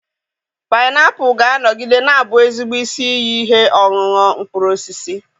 Painiapulu ga-anọgide na-abụ ezigbo isi iyi ihe ọṅụṅụ mkpụrụ osisi